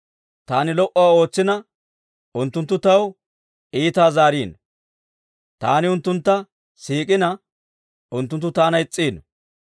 Taani lo"uwaa ootsina, unttunttu taw iitaa zaariino; taani unttuntta siik'ina, unttunttu taana is's'iino.